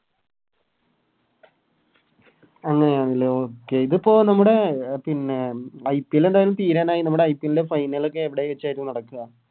അങ്ങനെയാണ് ലെ Okay ഇതിപ്പോ നമ്മുടെ IPL എന്തായാലും തീരാനായി നമ്മുടെ IPL ൻറെ Final ഒക്കെ എവിടെ വെച്ചായിറ്റ നടക്ക